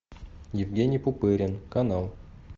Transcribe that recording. евгений пупырин канал